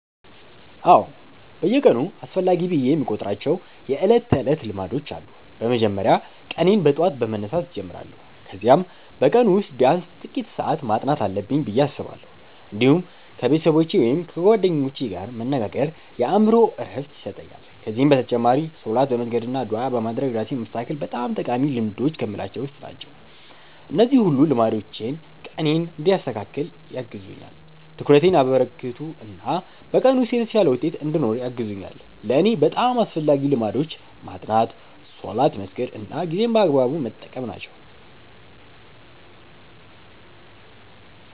አዎ፣ በየቀኑ አስፈላጊ ብዬ የምቆጥራቸው የዕለት ተዕለት ልማዶች አሉ። በመጀመሪያ ቀኔን በጠዋት በመነሳት እጀምራለሁ፣ ከዚያም በቀኑ ውስጥ ቢያንስ ጥቂት ሰዓት ማጥናት አለብኝ ብዬ አስባለሁ። እንዲሁም ከቤተሰቦቼ ወይም ከጓደኞቼ ጋር መነጋገር የአእምሮ ዕረፍት ይሰጠኛል። ከዚህ በተጨማሪ ሶላት በመስገድ አና ዱዓ በማድረግ ራሴን ማስተካከል በጣም ጠቃሚ ልማዶች ከምላቸዉ ዉስጥ ናቸው። እነዚህ ሁሉ ልማዶች ቀኔን እንዲያስተካክል ያግዙኛል፣ ትኩረቴን ያበረከቱ እና በቀኑ ውስጥ የተሻለ ውጤት እንድኖረኝ ያግዙኛል። ለእኔ በጣም አስፈላጊዎቹ ልማዶች ማጥናት፣ ሶላት መስገድ እና ጊዜን በአግባቡ መጠቀም ናቸው።